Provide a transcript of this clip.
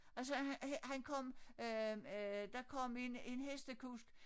Og så han kom øh øh der kom en en hestekusk